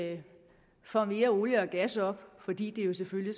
at vi får mere olie og gas op fordi det jo selvfølgelig